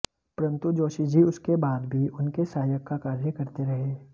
परन्तु जोशी जी उसके बाद भी उनके सहायक का कार्य करते रहे